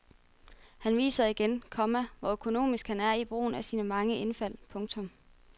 Han viser igen, komma hvor økonomisk han er i brugen af sine mange indfald. punktum